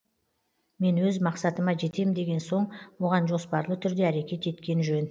мен өз мақсатыма жетем деген соң оған жоспарлы түрде әрекет еткен жөн